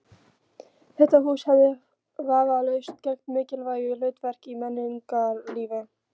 Þetta hús hefði vafalaust gegnt mikilvægu hlutverki í menningarlífi